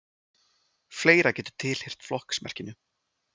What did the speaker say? fleira getur tilheyrt flokksmerkinu